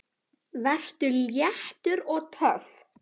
Vertu léttur. og töff!